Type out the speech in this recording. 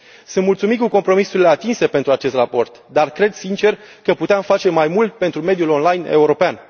Sunt mulțumit de compromisurile atinse pentru acest raport, dar cred sincer că puteam face mai mult pentru mediul online european.